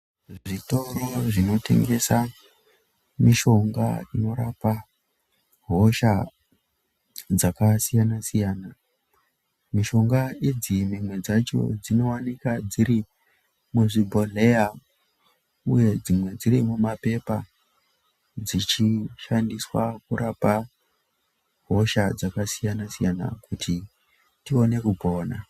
Zvitoro zvinotengesa mishonga inorapa hosha dzakasiyana siyana. Mishonga idzi dzimwe dzacho dzinowanikwa dziri muzvi bhodhleya uye dzimwe dziri muma pepa dzichi shandiswa kurapa hosha dzakasiyana siyana kuti tione kupona.